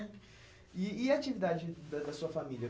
E e a atividade da da sua família?